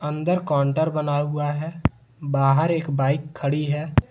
अंदर काउंटर बना हुआ है बाहर एक बाइक खड़ी है।